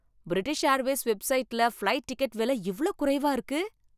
British Airways வெப்சைட்ல flight ticket விலை இவ்ளோ குறைவா இருக்கு!